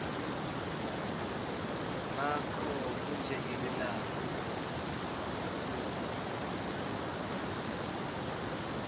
bakho bunjengelilanga liphuma